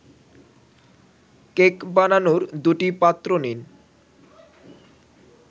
cake বানানোর দুটি পাত্র নিন